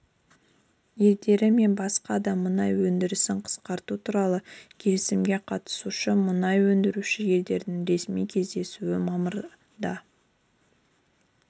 елдері мен басқа да мұнай өндірісін қысқарту туралы келісімге қатысушы мұнай өндіруші елдердің ресми кездесуі мамырда